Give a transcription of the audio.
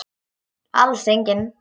Alls engin.